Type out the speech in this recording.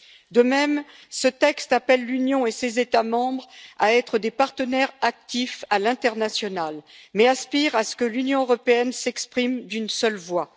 De même, ce texte appelle l'Union et ses États membres à être des partenaires actifs à l'international, mais aspire à ce que l'Union européenne s'exprime d'une seule voix.